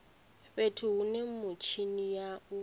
fhethu hune mitshini ya u